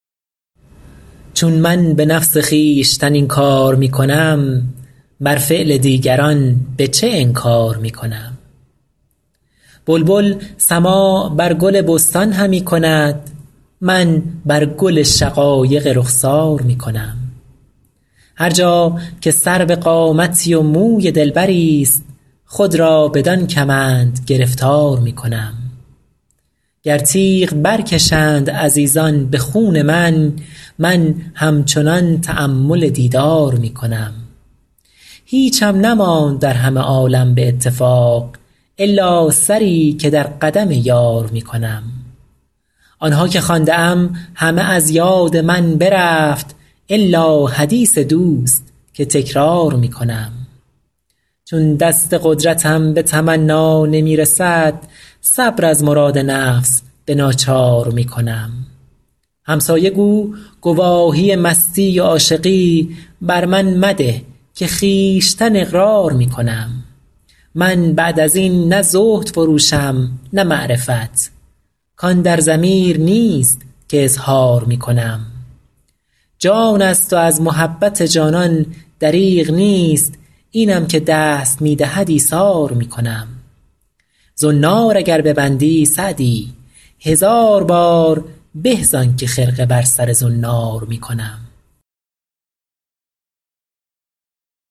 چون من به نفس خویشتن این کار می کنم بر فعل دیگران به چه انکار می کنم بلبل سماع بر گل بستان همی کند من بر گل شقایق رخسار می کنم هر جا که سرو قامتی و موی دلبریست خود را بدان کمند گرفتار می کنم گر تیغ برکشند عزیزان به خون من من همچنان تأمل دیدار می کنم هیچم نماند در همه عالم به اتفاق الا سری که در قدم یار می کنم آن ها که خوانده ام همه از یاد من برفت الا حدیث دوست که تکرار می کنم چون دست قدرتم به تمنا نمی رسد صبر از مراد نفس به ناچار می کنم همسایه گو گواهی مستی و عاشقی بر من مده که خویشتن اقرار می کنم من بعد از این نه زهد فروشم نه معرفت کان در ضمیر نیست که اظهار می کنم جان است و از محبت جانان دریغ نیست اینم که دست می دهد ایثار می کنم زنار اگر ببندی سعدی هزار بار به زان که خرقه بر سر زنار می کنم